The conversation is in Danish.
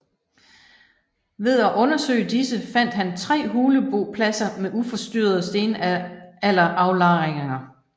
Ved at undersøge disse fandt han tre hulebopladser med uforstyrrede stenalderaflejringer